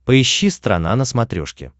поищи страна на смотрешке